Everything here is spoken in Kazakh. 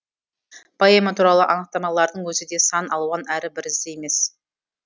поэма туралы анықтамалардың өзі де сан алуан әрі бірізді емес